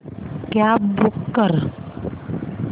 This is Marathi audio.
कॅब बूक कर